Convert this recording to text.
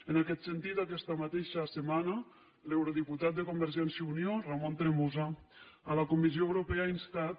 en aquest sentit aquesta mateixa setmana l’eurodiputat de convergència i unió ramon tremosa a la comissió europea ha instat